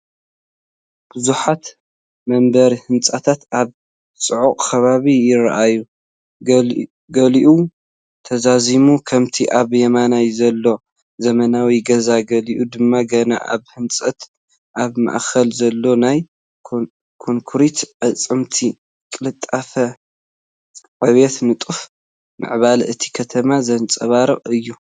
ብዙሓት መንበሪ ህንጻታት ኣብ ጽዑቕ ከባቢ ይረኣዩ። ገሊኡ ተዛዚሙ (ከምቲ ኣብ የማን ዘሎ ዘመናዊ ገዛ)፡ ገሊኡ ድማ ገና ኣብ ህንጸት (ኣብ ማእከል ዘሎ ናይ ኮንክሪት ኣዕጽምቲ)። ቅልጡፍ ዕብየትን ንጡፍ ምዕባለን እታ ከተማ ዘንጸባርቕ እዩ።